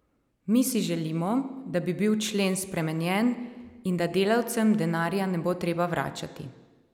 Mi si želimo, da bi bil člen spremenjen in da delavcem denarja ne bo treba vračati.